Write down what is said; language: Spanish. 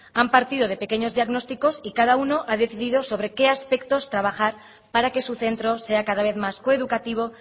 han partido de pequeños diagnósticos y cada uno ha decidido sobre qué aspectos trabajar para que su centro sea cada vez más coeducativo